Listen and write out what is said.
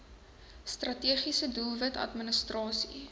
strategiese doelwit administrasie